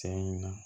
Tiɲɛ na